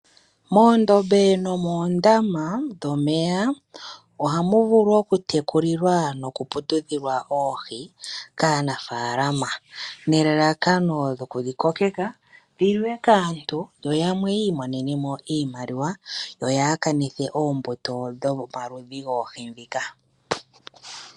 Moondombe nomoondama dhomeya ohamu vulu okutekulilwa nokuputudhilwa oohi kaanafalama nelalakano dhoku dhi kokeka dhi liwe kaantu yoyamwe yi imonenemo iimaliwa yo haa kanithe ombuto dhomaludhi goohi ndhika.